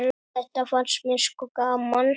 Þetta fannst mér sko gaman.